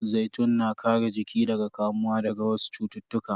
Zaitun na kare jiki daga kamuwa daga wasu cututtuka.